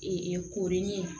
koronin